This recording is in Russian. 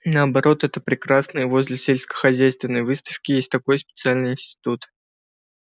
наоборот это прекрасно и возле сельскохозяйственной выставки есть такой специальный институт